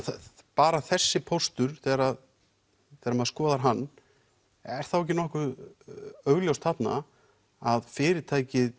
bara þessi póstur þegar þegar maður skoðar hann er þá ekki nokkuð augljóst þarna að fyrirtækið